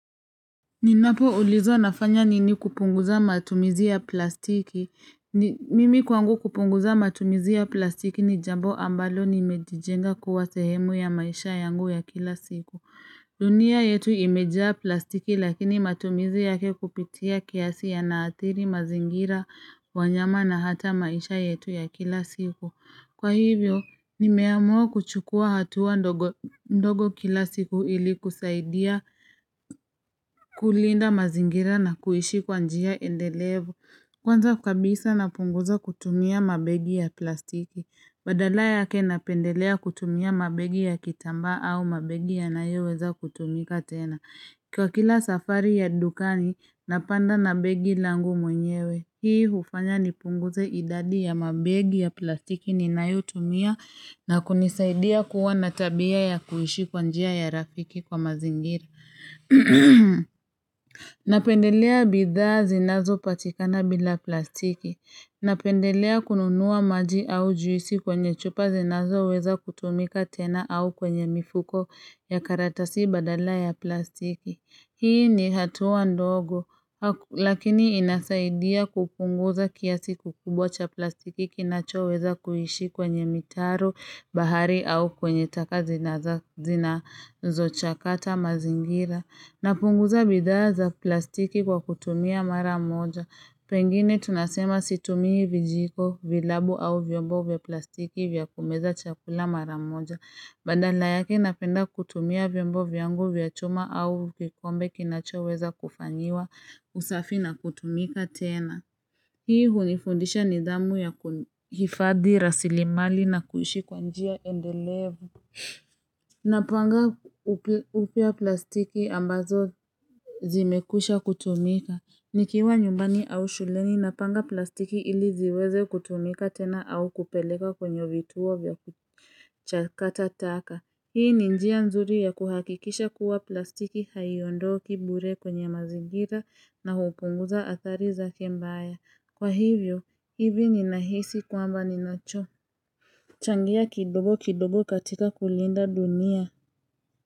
Ninapoulizwa nafanya nini kupunguza matumizi ya plastiki. Mimi kwangu kupunguza matumizi ya plastiki ni jambo ambalo nimejijenga kuwa sehemu ya maisha yangu ya kila siku. Dunia yetu imejaa plastiki lakini matumizi yake kupitia kiasi yanaathiri mazingira wanyama na hata maisha yetu ya kila siku. Kwa hivyo, nimeamua kuchukua hatua ndogo kila siku ili kusaidia kulinda mazingira na kuishi kwa njia endelevo. Kwanza kabisa napunguza kutumia mabegi ya plastiki. Badala ya ke na pendelea kutumia mabegi ya kitamba au mabegi ya nayoweza kutumika tena. Kwa kila safari ya dukani, napanda na begi langu mwenyewe. Hii ufanya nipunguze idadi ya mabegi ya plastiki ninayotumia na kunisaidia kuwa na tabia ya kuhishi kwanjia ya rafiki kwa mazingiri. Napendelea bidhaa zinazopatikana bila plastiki. Napendelea kununua maji au juisi kwenye chupa zinazoweza kutumika tena au kwenye mifuko ya karatasi badala ya plastiki. Hii ni hatua ndogo, lakini inasaidia kupunguza kiasi kikubwa cha plastiki kinachoweza kuhishi kwenye mitaro bahari au kwenye taka zinazo chakata mazingira. Napunguza bidhaa za plastiki kwa kutumia maramoja. Pengine tunasema situmihi vijiko, vilabu au vyombo vya plastiki vya kumeza chakula mara moja. Badala yake napenda kutumia vyombo vyangu vya choma au kikombe kinachoeweza kufanyiwa usafi na kutumika tena Hii hunifundisha nidhamu ya kifadi rasilimali na kuhishi kwanjia endelevu Napanga upya plastiki ambazo zimekusha kutumika Nikiwa nyumbani au shuleni napanga plastiki ili ziweze kutumika tena au kupeleka kwenye vituo vya kuchakata taka Hii ni njia mzuri ya kuhakikisha kuwa plastiki haiondo kibure kwenye mazigira na hupunguza athari za kiembaya. Kwa hivyo, hivi ni nahisi kwamba ninacho. Changia kidogo kidogo katika kulinda dunia.